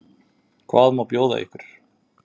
Hvað má bjóða ykkur?